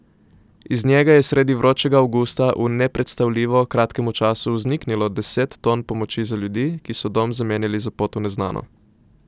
Iz njega je sredi vročega avgusta v nepredstavljivo kratkem času vzniknilo deset ton pomoči za ljudi, ki so dom zamenjali za pot v neznano.